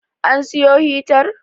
An siyo hitar?